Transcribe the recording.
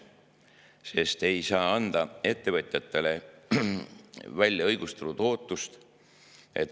ettevõtjatel õigustatud ootus.